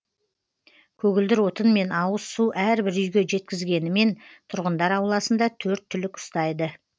көгілдір отын мен ауыз су әрбір үйге жеткізгенімен тұрғындар ауласында төрт түлік ұстайды